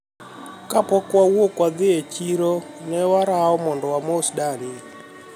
kapok wawuok dhi e chiro ne waroa mondo wamos dani